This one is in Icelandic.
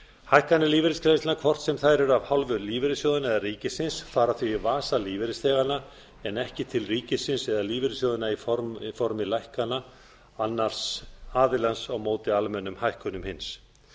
hækkanir lífeyrisgreiðslna hvort sem þær eru af hálfu lífeyrissjóðanna eða ríkisins fara því í vasa lífeyrisþeganna en ekki til ríkisins lífeyrissjóðanna í formi lækkana annars aðilans á móti hækkunum hins